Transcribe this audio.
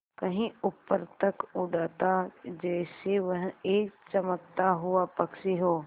कहीं ऊपर तक उड़ाता जैसे वह एक चमकता हुआ पक्षी हो